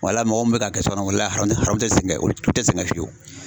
Wala mɔgɔw munnu bɛ ka kɛ sokɔnɔn wala aramun aramun o tɛ sɛgɛn olu tɛ sɛgɛn fiyewu.